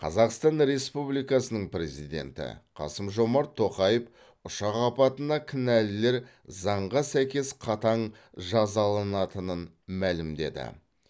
қазақстан республикасының президенті қасым жомарт тоқаев ұшақ апатына кінәлілер заңға сәйкес қатаң жазаланатынын мәлімдеді